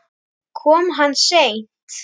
Kom hann seint?